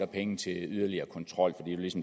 penge til yderligere kontrol